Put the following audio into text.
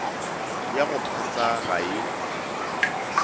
ya go phasa ga e